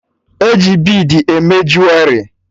E ji bid eme juwerị